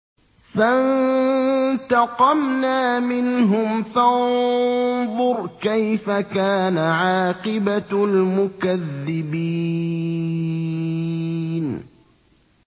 فَانتَقَمْنَا مِنْهُمْ ۖ فَانظُرْ كَيْفَ كَانَ عَاقِبَةُ الْمُكَذِّبِينَ